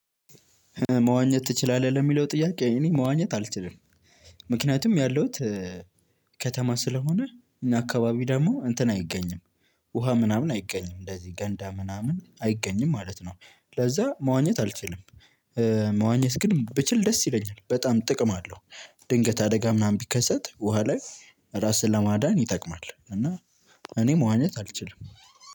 መዋኘት ትችላለህ ለሚለው ጥያቄ እኔ መዋኘት አልችልም። ምክንያቱም ያለውት ከተማ ስለሆነ እኛ አካባቢ ደግሞ እንትን አይገኝም ውሃ ምናምን አይገኝም እንደዚህ ገንዳ ምናምን አይገኝም ማለት ነው። ለዛ መዋኘት አልችልም። መዋኘት ግን ብችል ደስ ይለኛል በጣም ጥቅም አለው። ድንገት አደጋ ምናምን ቢከሰት ውሃ ላይ ራስን ለማዳን ይጠቅማል። እና እኔ መዋኘት አልችልም።